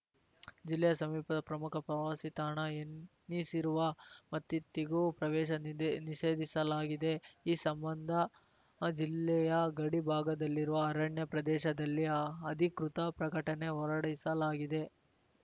ಜಿಲ್ಲೆಯ ಸಮೀಪದ ಪ್ರಮುಖ ಪ್ರವಾಸಿ ತಾಣ ಎನಿಸಿರುವ ಮತ್ತಿತ್ತಿಗೂ ಪ್ರವೇಶ ನಿದ್ ನಿಷೇಧಿಸಲಾಗಿದೆ ಈ ಸಂಬಂಧ ಜಿಲ್ಲೆಯ ಗಡಿಭಾಗದಲ್ಲಿರುವ ಅರಣ್ಯ ಪ್ರದೇಶದಲ್ಲಿ ಅಧಿಕೃತ ಪ್ರಕಟಣೆ ಹೊರಡಿಸಲಾಗಿದೆ